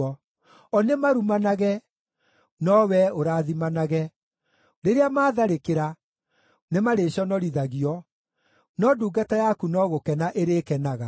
O nĩ marumanage, no wee ũrathimanage; rĩrĩa maatharĩkĩra nĩmarĩconorithagio, no ndungata yaku no gũkena ĩrĩkenaga.